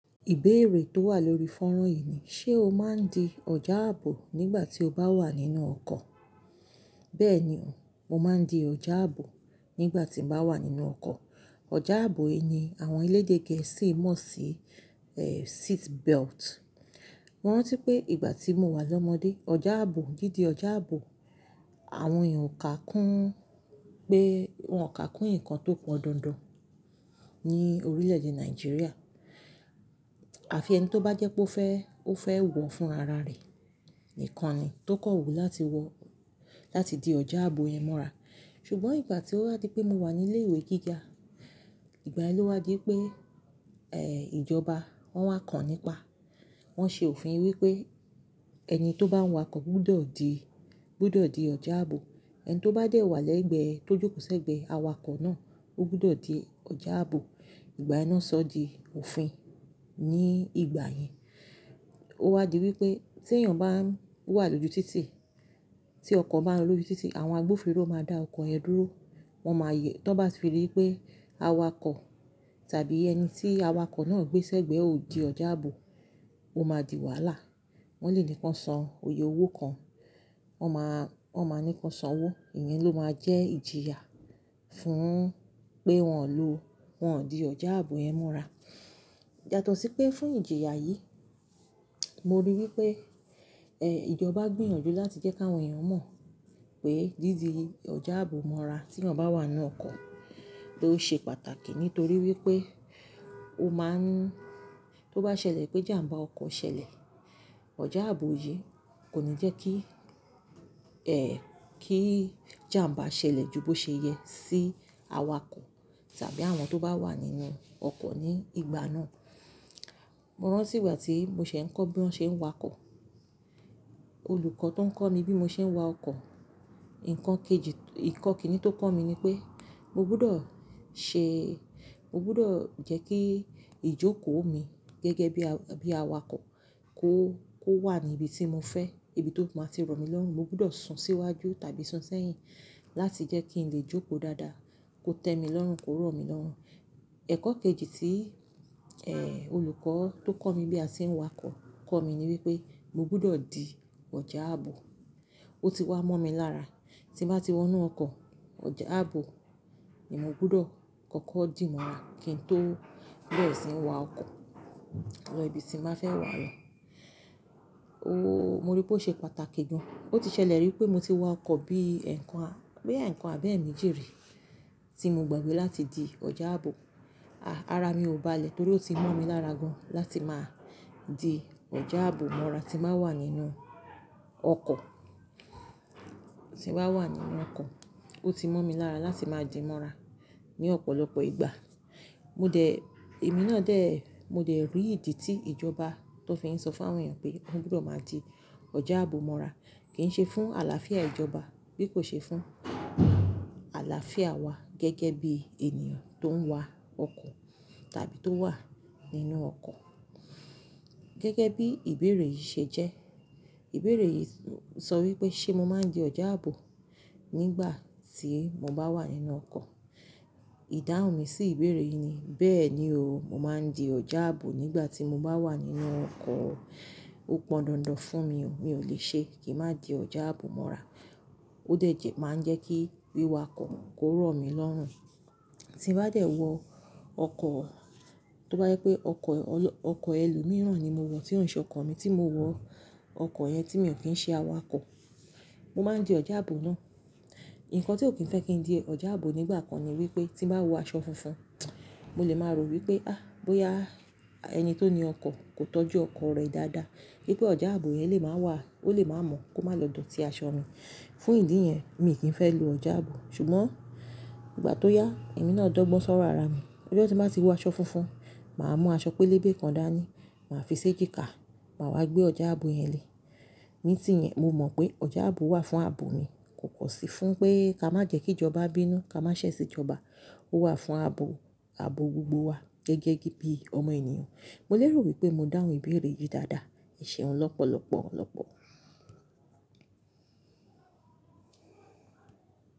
Ìbéèrè tó wà lórí fọ́nrán yìí ni: ṣe o máa ń di ọjà ààbò nígbà tí o bá wà nínú ọkọ̀? Bẹ́ẹ̀ ni o, mo máa ń di ọjà ààbò nígbà tí mo bá wà nínú ọkọ̀. Ọjà ààbò yìí ni àwọn elédè gẹ̀ẹ́sì mọ̀ sí, eh, seat belt. Mo rántí pé ìgbà tí mo wà lọ́mọdé, ọjà ààbò, dídi ọjà ààbò, àwọn èèyàn ò kà kún pẹ́, wọ́n ò kà kún nǹkan tó pọn dandan ní orílẹ̀ èdè Nàìjíríà. Àfi ẹni tó bá jẹ́ pé ó fẹ́, ó fẹ́ wọ̀ fún ara rẹ̀ nìkan ni tó kọ̀wú láti wọ̀, láti di ọjà ààbò yẹn mọ́ra. Ṣùgbọ́n ìgbà tí ó wá di pé mo wà ní ilé ìwé gíga, ìgbà yẹn ló wá di pé, eh, ìjọba wọ́n wá kàn nípa, wọ́n ṣe òfin wípé ẹni tó bá ń wakọ̀ gbúdọ̀ di, gbúdọ̀ di ọjà ààbò. Ẹni tó bá dẹ̀ wà lẹ́gbẹ̀ẹ́, tó jókòó sẹ́gbẹ̀ẹ́ awakọ̀ náà, ó gbúdọ̀ di ọjà ààbò. Ìgbàyẹn náà sọ di òfin. Ní ìgbà yẹn, ó wá di wípé tí èèyàn bá ń wà lójú títì, tí ọkọ̀ bá ń lọ lójú títì, àwọn agbófinró máa dá ọkọ̀ yẹn dúró. Wọn máa yẹ́, tí wọ́n bá fi ìrí pé awakọ̀ tàbí ẹni tí awakọ̀ náà gbé sẹ́gbẹ̀ẹ́ ò di ọjà ààbò, ó máa di wàhálà. Wọ́n lè ní k'wọ́n san iye owó kan, wọ́n máa, wọ́n máa ní k'wọ́n san owó. Ìyẹn ló máa jẹ́ ìjìyà fún pé wọn ò lo, wọn ò di ọjà ààbò yẹn mọ́ra. Yàtọ̀ sí pé fún ìjìyà yìí, mo rí i wípé, eh, ìjọba gbìyànjú láti jẹ́ kí àwọn èèyàn mọ̀ pé dídi ọjà ààbò mọ́ra tí wọ́n bá wà nínú ọkọ̀ ló ṣe pàtàkì nítorí wípé ó máa ń-- tó bá ṣẹlẹ̀ pé jàmbá ọkọ̀ ṣẹlẹ̀, ọjà ààbò yìí kò ní jẹ́ kí, eh, kí jàmbá ṣẹlẹ̀ ju bó ṣe yẹ sí awakọ̀ tàbí àwọn tó bá wà nínú ọkọ̀ ní ìgbà náà. Mo rántí ìgbà tí mo ṣẹ̀ ń kọ́ bí wọ́n ṣe ń wakọ̀. Olùkọ́ tó ń kọ́ mi bí mo ṣe ń wa ọkọ̀, ǹkan kejì, ǹkan kìn-ínní tó kọ́ mi ni pé mo gbúdọ̀ ṣe, mo gbúdọ̀ jẹ́ kí ìjókòó mi gẹ́gẹ́ bí aw-bí awakọ̀ kó, kó wà ní ibi tí mo fẹ́, ibi tó máa ti rọ̀ mí lọ́rùn. Mo gbúdọ̀ sun síwájú tàbí sun sẹ́yìn láti jẹ́ kí n lè jókòó dáadáa, kó tẹ́ mi lọ́rùn, kó rọ̀ mí lọ́rùn. Ẹ̀kọ́ kejì tí, eh, olùkọ́ tó kọ́ mi bí a ṣe ń wakọ̀ kọ́ mi ni wípé mo gbúdọ̀ di ọjà ààbò. Ó ti wá mọ́ mi lára tí mo bá ti wọ inú ọkọ̀, ọjà ààbò ni mo gbúdọ̀ kọ́kọ́ dì mọ́ra kí n tó berẹ síí wa ọkọ̀ lọ ibi tí ma fẹ́ wà lọ. Oo, mo rí i pé ó ṣe pàtàkì gan. Ó ti ṣẹlẹ̀ rí pé mo ti wa ọkọ̀ bí ẹ̀ẹ̀kan, bí ẹ̀ẹ̀kan àbẹ́ẹ̀ méjì rí tí mo gbàgbé láti di ọjà ààbò. Àh, ara mi ò balẹ̀ torí ó ti mọ́ mi lára gan láti máa di ọjà ààbò mọ́ra tí màá wà nínú ọkọ̀, tí mbá wà nínú ọkọ̀. Ó ti mọ́ mi lára láti máa di mọ́ra ní ọ̀pọ̀lọpọ̀ ìgbà. Mo dẹ̀, èmi náà dẹ̀, mo dẹ̀ rí ìdí tí ìjọba tó fi ń sọ fún àwọn èèyàn pé wọ́n gbúdọ̀ máa di ọjà ààbò mọ́ra. Kì í ṣe fún àlàáfíà ìjọba, bí kò ṣe fún àlàáfíà wa gẹ́gẹ́ bí ènìyàn tó ń wa ọkọ̀ tàbí tó wà nínú ọkọ̀. Gẹ́gẹ́ bí ìbéèrè yìí ṣe jẹ́, ìbéèrè yìí sọ wípé ṣe mo máa ń di ọjà ààbò nígbà tí mo bá wà nínú ọkọ̀? Ìdáhùn mi sí ìbéèrè yìí ni: bẹ́ẹ̀ ni o, mo máa ń di ọjà ààbò nígbà tí mo bá wà nínú ọkọ̀. Ó pọn dandan fún mi o, mi ò lè ṣe kí n má di ọjà ààbò mọ́ra. Ó dẹ̀ jẹ́ máa ń jẹ́ kí wíwakọ̀ kó rọ̀ mí lọ́rùn. Tí mo bá dẹ̀ wọ ọkọ̀, tó bá yẹ pé ọkọ̀ ọlọ-ọkọ̀ ẹlòmíràn ni mo wọ̀ tí ò nṣe ọkọ̀ mi tí mo wọ̀, ọkọ̀ yẹn tí mi ò kí ń ṣe awakọ̀, mo máa ń di ọjà ààbò náà. Ǹkan tí ò kí ń fẹ́ kí n di ọjà ààbò nígbà kan ni wípé tí mo bá wọ aṣọ funfun, mo lè máa rò wípé ah, bóyá ẹni tó ni ọkọ̀ kò tọ́jú ọkọ̀ rẹ dáadáa, pé ọjà ààbò yẹn lè máa wà, ó lè máa mọ́ kó má lọ dọ̀tí aṣọ mi. Fún ìdí yẹn, mi kìí fẹ́ lo ọjà ààbò. Ṣùgbọ́n ìgbà tó yá, èmi náà dọ́gbọ́n sọ̀rọ̀ ara mi. Ijọ́ tí n bá tì wọ aṣọ funfun, màá mú aṣọ pélébé kan dání, màá fi ṣé jíkà, màá wá gbé ọjà ààbò yẹn lé. Ní ìtìyẹn mo mọ̀ pé ọjà ààbò wà fún ààbò mi, kò kọ̀ sí fún pé ká má jẹ́ kí ìjọba bínú, ká má ṣẹ̀ sí ìjọba. Ó wà fún ààbò, ààbò gbogbo wa gẹ́gẹ́ bí ọmọ ènìyàn. Mo lérò wípé mo dáhùn ìbéèrè yìí dáadáa. Seun lọ́pọ̀lọ́pọ̀, lọ́pọ̀.